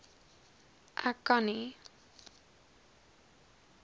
ek kan nie